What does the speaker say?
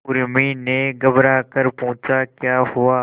उर्मी ने घबराकर पूछा क्या हुआ